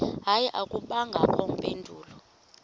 hayi akubangakho mpendulo